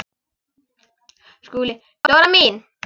SKÚLI: Dóra mín!